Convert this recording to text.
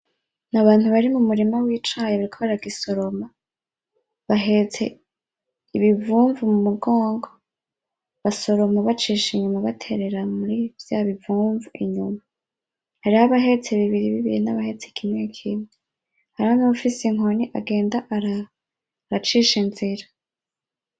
N’abantu bari mumurima wicayi bariko baragisoroma bahetse ibivumvu mumugongo basoroma bacisha inyuma baterera muri vya bivumvu inyuma hariyo abahetse bibiri bibiri hari nabahetse kimwe kimwe hari nabafise inkoni agenda aracisha inzira .